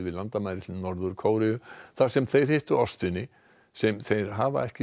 landamærin til Norður Kóreu þar sem þeir hittu ástvini sem þeir hafa ekki